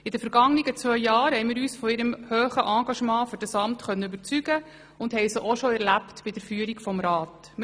In den vergangenen beiden Jahren konnten wir uns von ihrem hohen Engagement für dieses Amt überzeugen, und haben sie auch bereits bei der Führung dieses Rats erlebt.